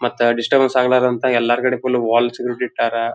ಮತ್ತೆ ಡಿಸ್ಟಿರ್ಬೇನ್ಸ್ ಆಗ್ಬರ್ದ್ ಅಂತ ಎಲ್ಲಾ ಕಡೆ ಫುಲ್ ವಾಲ್ಸ್ ಗಳನ್ನೂ ಇಟ್ಟರ.